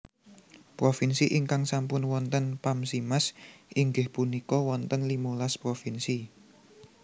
Provinsi ingkang sampun wonten Pamsimas inggih punika wonten limolas Provinsi